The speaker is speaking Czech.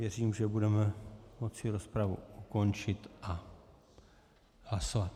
Věřím, že budeme moci rozpravu ukončit a hlasovat.